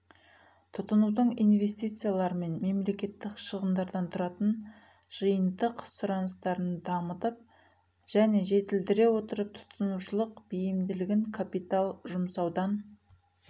тұтынудың инвестициялар мен мемлекеттік шығындардан тұратын жиынтық сұраныстарын дамытып және жетілдірілдіре отырып тұтынушылық бейімділігін капитал жұмсаудан